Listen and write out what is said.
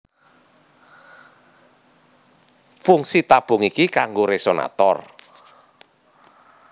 Fungsi tabung iki kanggo resonator